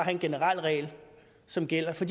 en generel regel som gælder for